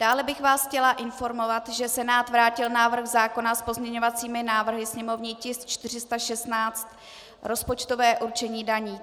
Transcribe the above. Dále bych vás chtěla informovat, že Senát vrátil návrh zákona s pozměňovacími návrhy, sněmovní tisk 416, rozpočtové určení daní.